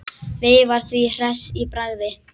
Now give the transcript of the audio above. Veifar því hress í bragði.